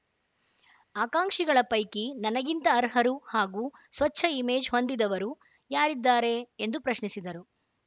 ಆಕಾಂಕ್ಷಿಗಳ ಪೈಕಿ ನನಗಿಂತ ಅರ್ಹರು ಹಾಗೂ ಸ್ವಚ್ಛ ಇಮೇಜ್‌ ಹೊಂದಿದವರು ಯಾರಿದ್ದಾರೆ ಎಂದು ಪ್ರಶ್ನಿಸಿದರು